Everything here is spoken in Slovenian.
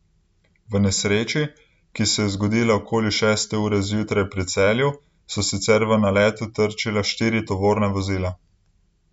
V nesreči, ki se je zgodila okoli šeste ure zjutraj pri Celju, so sicer v naletu trčila štiri tovorna vozila.